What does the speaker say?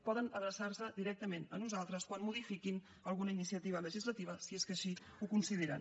poden adreçar se directament a nosaltres quan modifiquin alguna iniciativa legislativa si és que així ho consideren